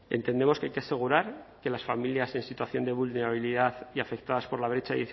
entendemos que hay que asegurar que las familias en situación de vulnerabilidad y afectadas por la brecha